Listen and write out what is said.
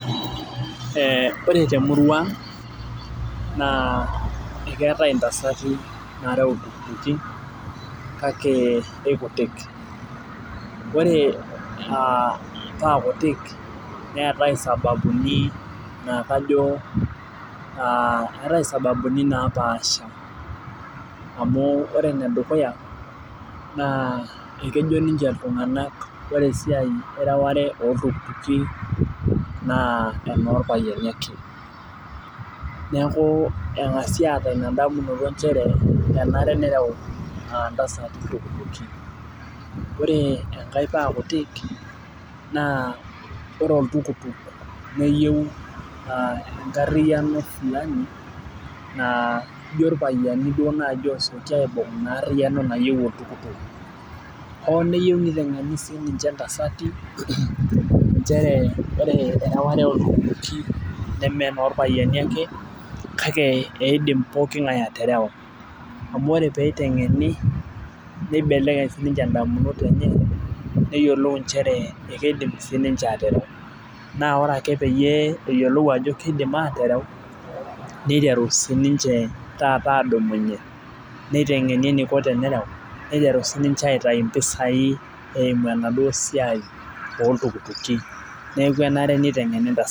Ee ore temurua na keetae ntasati nareu irpikipiki kake kekutik ore paa kutuk neetae sababuni napaasha amu ore endukuya ore esiai ereware orpikipiki na enorpayiani ake neaku engasivaatum endamunoto nchere menare nerew ntasati irpikipiki ore paa kutik ore oltukutuk neyieu enkariano sapuk na ijo irpayiani duo naji enkariano naewuo o neyieu nitengeni sinye ntasati nchere ore erewata oltukutuki nemenorpayiani ake amu ore peitengeni nibelekeny sinye ndamunot enye akeaku keyiolou aterew na ore ake peyiolou ajo ketayioloto aterew niteru sininche taata adumunye ningurari tenerew ninche aitau mpisai eimu enasiai orpikipiki neaku keyieu nitengeni ntasati.